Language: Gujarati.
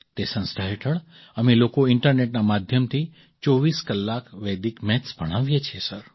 તે સંસ્થા હેઠળ અમે લોકો ઇન્ટરનેટના માધ્યમથી ૨૪ કલાક વેદિક મેથ્સ ભણાવીએ છીએ સર